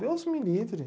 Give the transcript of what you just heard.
Deus me livre.